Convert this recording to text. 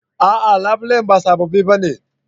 A'a labulen ba sababbi ba ne